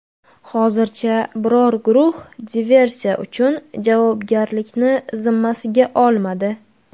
Hozircha biror guruh diversiya uchun javobgarlikni zimmasiga olmadi.